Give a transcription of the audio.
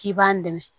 K'i b'an dɛmɛ